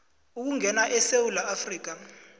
ukungena esewula afrika